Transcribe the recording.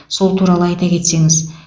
сол туралы айта кетсеңіз